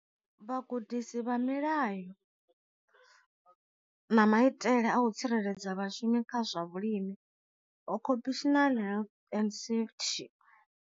Vhagudisi vha milayo na maitele a u tsireledza vhashumi kha zwa vhulimi occupational health and safety.